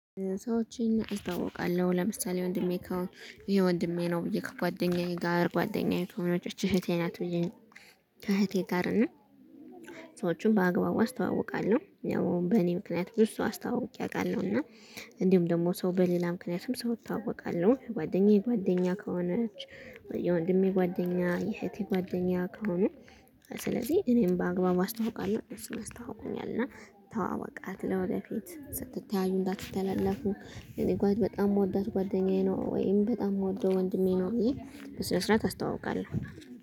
ሰዎችን አስታውቃለሁ ለምሳሌ ወንድሜ ይሄ ወንድሜ ነው ብዬ ከጓደኛዬ ጋር ጓደኛዬ ከሆነች እህቴ ናት ብዬ እህቴ ጋር እና ስወቹን በአግባቡ አስተዋውቃለሁ ያው በእኔ ምክንያት ብዙ አስታውቄ አውቃለሁ እና እንዲሁም ደግሞ ሰው በሌላ ምክንያትም ሰው እታወቃለሁ ጓደኛዬ ጓደኛ ከሆነች ወይ ወንድሜ ጓደኛ የህቴ ጓደኛ ከሆነ ስለዚህ እኔም በአግባቡ አስታውቃለሁ እኔም አስተዋውቆኛል እና ተዋዋቃት ለወደፊት ስትተያዩ እንዳትተላለፉ እኔ ጓድ በጣም የምወዳት ጓደኛዬ ነው ወይም በጣም የምወደው ወንድሜ ነው ይሄ በስነ ስርዓት አስተዋውቃለሁ።